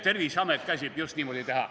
Terviseamet käsib just niimoodi teha.